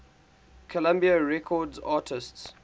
columbia records artists